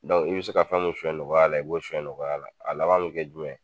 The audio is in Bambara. i be se ka fɛn mun suɲɛ nɔgɔya la i b'o suɲɛ nɔgɔya la. A laban bɛ kɛ jumɛn ?